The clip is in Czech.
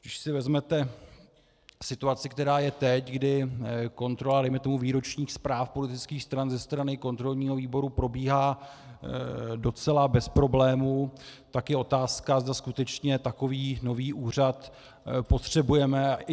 Když si vezmete situaci, která je teď, kdy kontrola dejme tomu výročních zpráv politických stran ze strany kontrolního výboru probíhá docela bez problémů, tak je otázka, zda skutečně takový nový úřad potřebujeme.